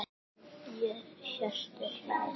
Hjörtur hlær.